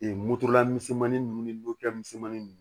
moto la misɛnmanin ninnu ni misɛnmanin ninnu